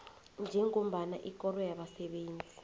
njengombana ikoro yabasebenzi